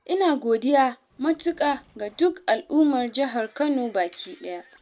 ina godiya matuƙa ga duk al'ummar Jihar Kano baki ɗaya.